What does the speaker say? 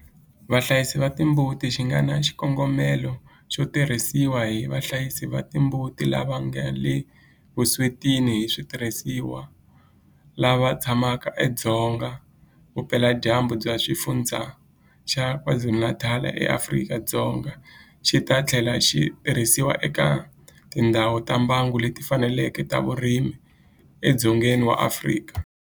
Vahlayisi va timbuti xi nga na xikongomelo xo tirhisiwa hi vahlayisi va timbuti lava nga le vuswetini hi switirhisiwa lava tshamaka edzonga vupeladyambu bya Xifundzha xa KwaZulu-Natal eAfrika-Dzonga, xi ta tlhela xi tirhisiwa eka tindhawu ta mbango leti fanaka ta vurimi edzongeni wa Afrika.